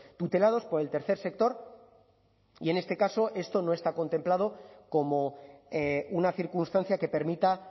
tutelados por el tercer sector y en este caso esto no está contemplado como una circunstancia que permita